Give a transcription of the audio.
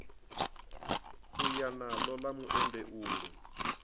u ya naḽo ḽa muendeulu